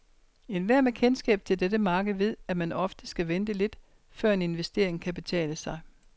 Enhver med kendskab til dette marked ved, at man ofte skal vente lidt, før en investering kan betale sig.